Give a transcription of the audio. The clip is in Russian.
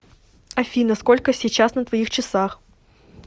афина сколько сейчас на твоих часах